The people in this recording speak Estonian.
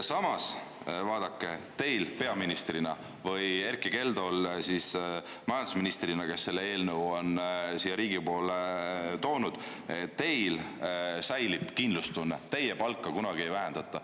Samas, vaadake, teil peaministrina või Erkki Keldol majandusministrina, kes selle eelnõu on siia Riigikokku toonud, säilib kindlustunne, sest teie palka kunagi ei vähendata.